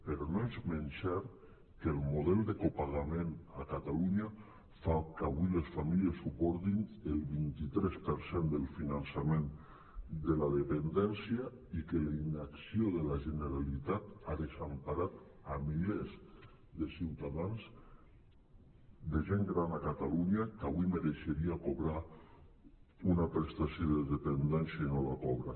però no és menys cert que el model de copagament a catalunya fa que avui les fa·mílies suportin el vint tres per cent del finançament de la dependència i que la inacció de la generalitat ha desemparat milers de ciutadans de gent gran a catalunya que avui mereixeria cobrar una prestació de dependència i no la cobra